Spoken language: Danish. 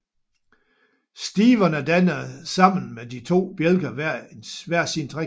Stiverne danner sammen med de to bjælker hver sin trekant